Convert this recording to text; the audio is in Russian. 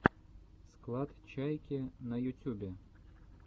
склад чайки на ютюбе